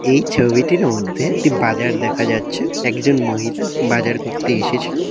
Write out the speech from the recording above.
এই ছবিটির মধ্যে একটি বাজার দেখা যাচ্ছে এক জন মহিলা বাজার করতে এসেছেন।